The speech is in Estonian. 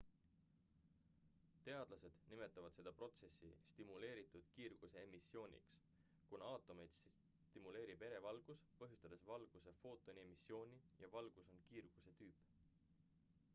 teadlased nimetavad seda protsessi stimuleeritud kiirguse emissiooniks kuna aatomeid stimuleerib ere valgus põhjustades valguse footoni emissiooni ja valgus on kiirguse tüüp